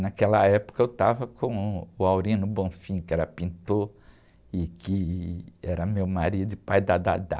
Naquela época eu estava com uh, o, que era pintor e que era meu marido e pai da.